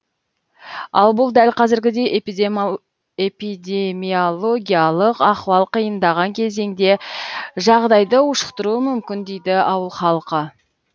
ал бұл дәл қазіргідей эпидемиологиялық ахуал қиындаған кезеңде жағдайды ушықтыруы мүмкін дейді ауыл халқы